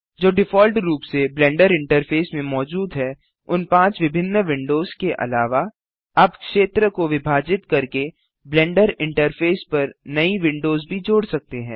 जो डिफॉल्ट रूप से ब्लेंडर इंटरफेस में मौजूद हैं उन पाँच विभिन्न विंडोज के अलावा आप क्षेत्र को विभाजित करके ब्लेंडर इंटरफेस पर नई विंडोज भी जोड़ सकते हैं